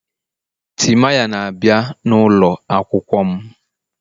Timaya na-abịa n'ụlọ akwụkwọ m